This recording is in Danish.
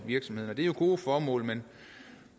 virksomhederne det er gode formål men